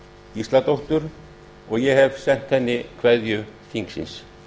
gísladóttur og ég hef sent henni kveðju þingsins